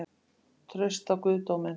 Traust á guðdóminn?